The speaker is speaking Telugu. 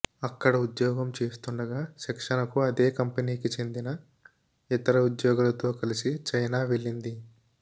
అక్కడ ఉద్యోగం చేస్తుండగా శిక్షణకు అదే కంపెనీకి చెందిన ఇతర ఉద్యోగులతో కలిసి చైనా వెళ్లింది